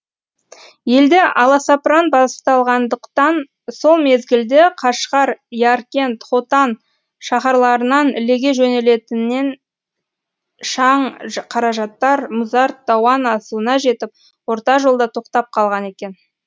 елде аласапыран басталғандықтан сол мезгілде қашғар яркент хотан шаһарларынан ілеге жөнелтінінен шаң қаражаттар мұзарт дауан асуына жетіп орта жолда тоқтап қалған екен